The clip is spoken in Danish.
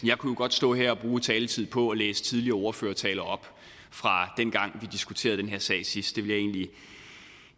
jeg kunne godt stå her og bruge taletid på at læse tidligere ordførertaler op fra dengang vi diskuterede den her sag sidst